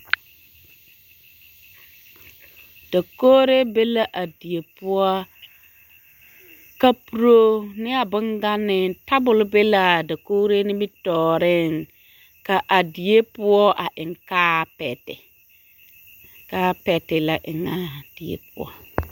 Dakogiri be la a die poɔ kapuro ne a boŋganee, tabol be l'a dakogiri nimitɔɔreŋ ka a die poɔ a eŋ kaapɛte, kaapɛte la eŋaa die poɔ.